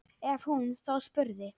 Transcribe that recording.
Ef hún þá spurði.